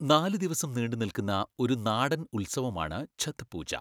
നാല് ദിവസം നീണ്ടുനിൽക്കുന്ന ഒരു നാടൻ ഉത്സവമാണ് ഛത്ത് പൂജ.